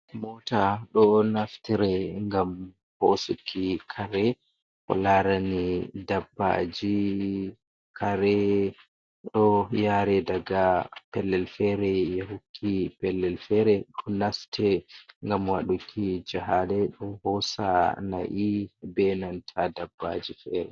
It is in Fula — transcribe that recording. Mota ɗo naftire ngam hosuki kare, ko larani dabbaji kare ɗo yare daga pellel fere yahukki pellel fere, ɗo naste ngam waɗuki jahale, ɗo hosa nai benanta dabbaji fere.